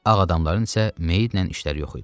Ağadamların isə meytlə işləri yox idi.